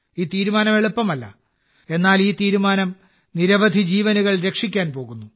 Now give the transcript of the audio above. ഈ തീരുമാനം എളുപ്പമല്ല എന്നാൽ ഈ തീരുമാനം നിരവധി ജീവനുകൾ രക്ഷിക്കാൻ പോകുന്നു